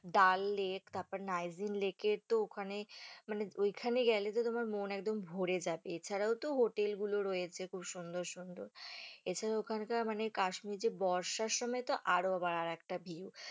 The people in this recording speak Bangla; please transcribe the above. ডাল lake তারপরে নাইজিং lake এ তো ওখানে মানে ওইখানে গেলে তো তোমার মন একদম ভরে যায়, এছাড়াও তো hotel গুলো রয়েছে খুব সুন্দর সুন্দর, এছাড়াও ওখানকার মানে কাশ্মীর যে বর্ষার সময় তো আরও আবার আর একটা view